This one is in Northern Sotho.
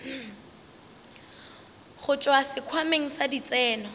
go tšwa sekhwameng sa ditseno